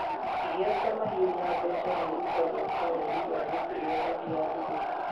Iheo ta mahiũ na mbeca nĩ irutagwo ta rũrĩ rwa gĩtĩo hĩndĩ ya thigũkũ.